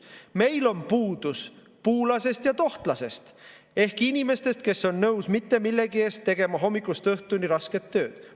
Meil on puudus puulasest ja tohtlasest ehk inimestest, kes on nõus mitte millegi eest tegema hommikust õhtuni rasket tööd.